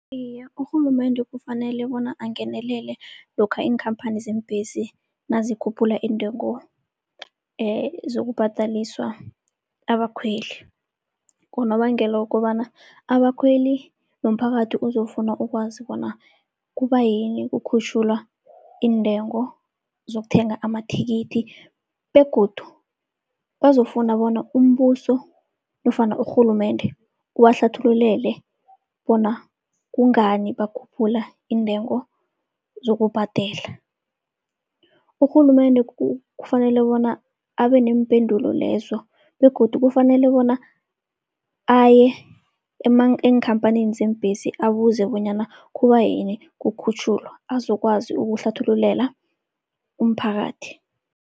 Iye, urhulumende kufanele bona angenelele lokha iinkhamphani zeembhesi nazikhuphula intengo zokubhadaliswa abakhweli. Ngonobangela wokobana abakhweli nomphakathi uzokufuna ukwazi bona kubayini kukhutjhulwa iintengo zokuthenga amathikithi begodu bazofuna bona umbuso nofana urhulumende ubahlathululele bona kungani bakhuphula iintengo zokubhadela. Urhulumende kufanele bona abe neempendulo lezo begodu kufanele bona aye eenkhamphanini zeembhesi, abuze bonyana kubayini kukhutjhulwa, azokwazi ukuhlathululela umphakathi.